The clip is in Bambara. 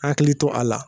Hakili to a la